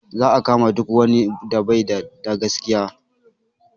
Za a kama duk wani da baida da gaskiya